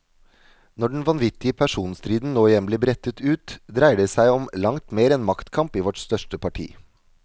Når den vanvittige personstriden nå igjen blir brettet ut, dreier det som om langt mer enn maktkamp i vårt største parti.